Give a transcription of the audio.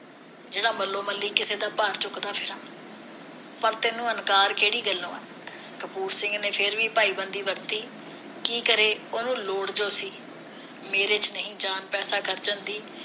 ਜਿਹੜਾ ਮੱਲੋ ਮੱਲੀ ਕਿਸੇ ਦਾ ਭਾਰ ਚੁੱਕਦਾ ਫਿਰਾਂ ਤੈਨੂੰ ਇਨਕਾਰ ਕਿਹੜੀ ਗੱਲੋਂ ਆ ਕਪੂਰ ਸਿੰਘ ਨੇ ਫਿਰ ਵੀ ਭਾਈ ਬੰਦੀ ਵਰਤੀ ਕੀ ਕਰੇ ਉਹਨੂੰ ਲੋੜ ਜੋ ਸੀ ਮੇਰੇ ਵਿਚ ਨਹੀ ਜਾਨ ਪੈਸੇ ਖਰਚਣ ਦੀ